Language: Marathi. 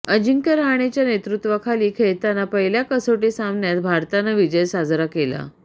अजिंक्य रहाणेच्या नेतृत्त्वाखाली खेळताना पहिल्या कसोटी सामन्यात भारतानं विजय साजरा केला